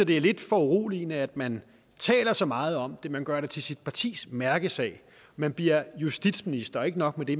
det er lidt foruroligende at man taler så meget om det man gør det til sit partis mærkesag man bliver justitsminister og ikke nok med det